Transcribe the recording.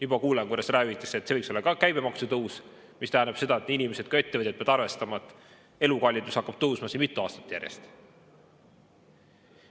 Juba kuulen, kuidas räägitakse, et see võiks olla ka käibemaksu tõus, mis tähendab seda, et nii inimesed kui ka ettevõtjad peavad arvestama, et elukallidus hakkab tõusma mitu aastat järjest.